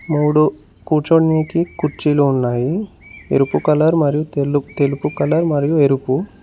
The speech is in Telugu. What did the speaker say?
మూడు కూర్చోనీకి కుర్చీలు ఉన్నాయి ఎరుపు కలర్ మరియు తెలుపు కలర్ మరియు ఎరుపు.